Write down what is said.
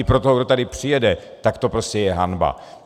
I pro toho, kdo tady přijede, tak to prostě je hanba.